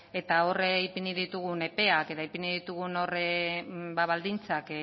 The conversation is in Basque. eta hor ipini ditugun epeak eta ipini ditugun baldintzak